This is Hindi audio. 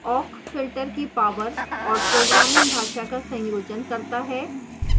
awk filter की power और programming भाषा का संयोजन करता है